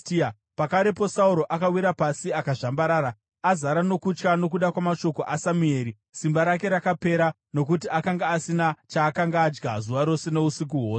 Pakarepo Sauro akawira pasi akazvambarara, azara nokutya nokuda kwamashoko aSamueri. Simba rake rakapera, nokuti akanga asina chaakanga adya zuva rose nousiku hwose.